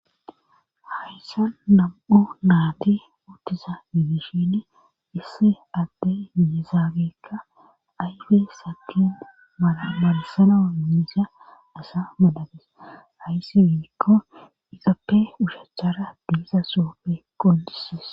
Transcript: hayssa nam7u naati uttiza midishin issi adte yesaagekka ayfe sakin maamarasana miisa asa madabes hayssi biikko izappe ushachara biisa soope qodisis